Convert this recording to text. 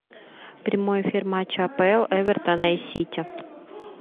прямой эфир матча апл эвертона и сити